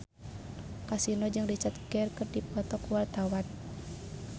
Kasino jeung Richard Gere keur dipoto ku wartawan